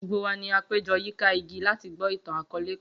Gbogbo wa ni a pejọ yika igi lati gbọ itan-akọọlẹ kan